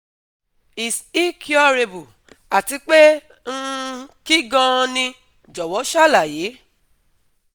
is é curable, àti pé um kín gan-an ni? Jọ̀wọ́ ṣàlàyé